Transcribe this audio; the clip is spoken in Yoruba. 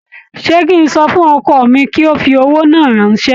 Ṣé kí n sọ fún ọkọ mi kí ó fi owó náà ránṣẹ́?